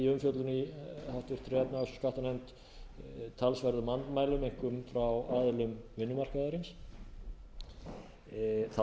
umfjöllun í háttvirtri efnahags og skattanefnd talsverðum andmælum einkum frá aðilum vinnumarkaðarins það